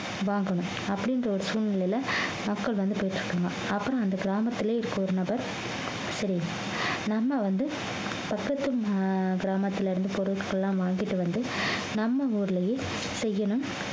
வாங்கணும் அப்படின்ற ஒரு சூழ்நிலையில மக்கள் வந்து போயிட்டு இருக்காங்க அப்புறம் அந்த கிராமத்திலே இருக்கிற ஒரு நபர் தெரியும் நம்ம வந்து பக்கத்து ம~ கிராமத்திலே இருந்து பொருட்கள்லாம் வாங்கிட்டு வந்து நம்ம ஊரிலேயே செய்யணும்